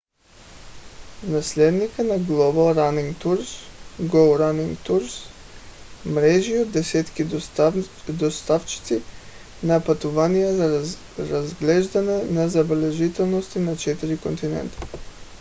наследникът на global running tours go running tours мрежи от десетки доставчици на пътувания за разглеждане на забележителности на четири континента